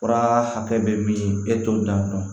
Fura hakɛ bɛ min e t'o dɔn